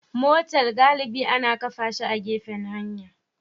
Motal galibi ana kafa shi a gefen hanya